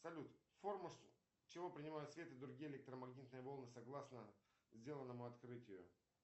салют форму чего принимает свет и другие электромагнитные волны согласно сделанному открытию